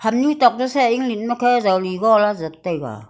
hamnu tok toh english ma khe zah lah tai a.